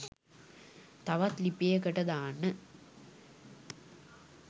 තවත් ලිපියකට දාන්න